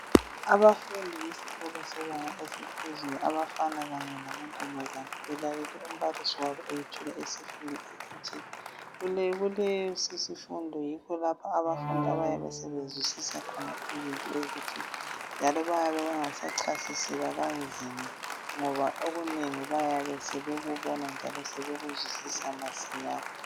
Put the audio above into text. Abafundi besikolo sebanga eliphezulu, abafana kanye lamantombazana belalele umbalisi wabo esthula isifundo esithile. Kulesi sifundo yikho lapho abafundi abayabe sebezwisisa khona izinto ezithile njalo bayabe bengasachasiselwa kanzima ngoba okunengi bayabe sebekubona lokuzwisisa masinyane.